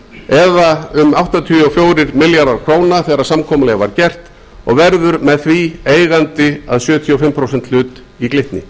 eða um áttatíu og fjóra milljarða íslenskra króna þegar samkomulagið var gert og verður með því eigandi að sjötíu og fimm prósenta hlut í glitni